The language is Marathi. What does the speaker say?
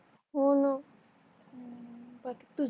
होण